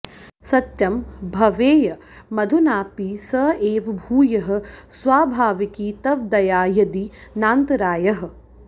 सत्यं भवेयमधुनापि स एव भूयः स्वाभाविकी तव दया यदि नान्तरायः